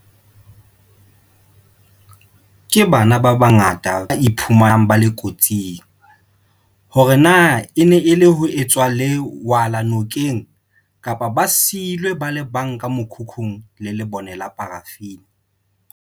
Ke bana ba bangata ba iphumanang ba le kotsing, hore na e ne e le ho etsa lewala nokeng kapa ba siilwe ba le bang ka mokhukhung le lebone la parafini.